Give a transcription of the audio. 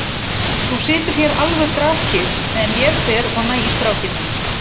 Þú situr hér alveg grafkyrr meðan ég fer og næ í strákinn minn.